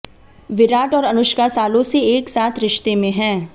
विराट और अनुष्का सालों से एक साथ रिश्ते में हैं